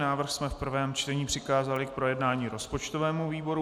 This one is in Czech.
Návrh jsme v prvém čtení přikázali k projednání rozpočtovému výboru.